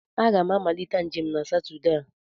M ga-amalite njem na Satọde a.